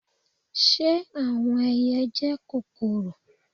Ṣe awọn ẹiyẹ jẹ kokoro?